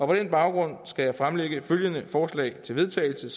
på den baggrund skal jeg fremsætte følgende forslag til vedtagelse